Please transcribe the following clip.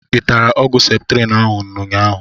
I tara ọgwụ septrin ahụ n'ụnyaahụ?